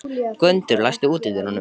Gvöndur, læstu útidyrunum.